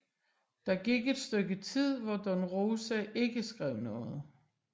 Der gik et stykke tid hvor Don Rosa ikke skrev noget